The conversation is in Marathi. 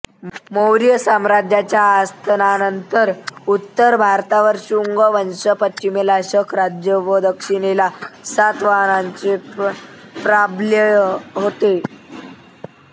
मौर्य साम्राज्याच्या अस्तानंतर उत्तर भारतावर शुंग वंश पश्चिमेला शक राज्य व दक्षिणेला सातवाहनांचे प्राबल्य होते